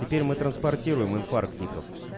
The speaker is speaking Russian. теперь мы транспортируемой инфарктников